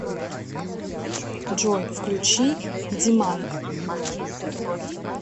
джой включи ди ман